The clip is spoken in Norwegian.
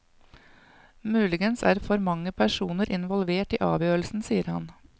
Muligens er for mange personer involvert i avgjørelsen, sier han.